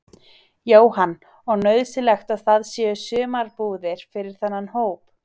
Jóhann: Og nauðsynlegt að það séu sumarbúðir fyrir þennan hóp?